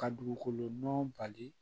Ka dugukolo nɔgɔ bali